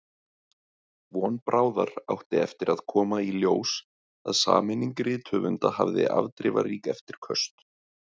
Von bráðar átti eftir að koma í ljós að sameining rithöfunda hafði afdrifarík eftirköst.